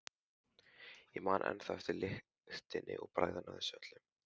Ég man ennþá eftir lyktinni og bragðinu af þessu öllu.